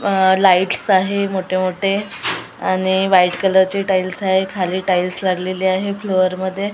अ lights आहे मोठे मोठे आणि व्हाईट कलरचे टाईल्स आहे खाली टाईल्स लागलेले आहे फ्लोअरमध्ये .